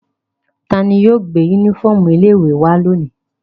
Ta ni yóò gbé únífọ́ọ́mù ilé-ìwé wá lónìí?